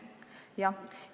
Jah.